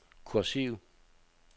kursiv